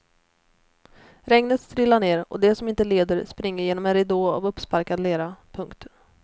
Regnet strilar ner och de som inte leder springer genom en ridå av uppsparkad lera. punkt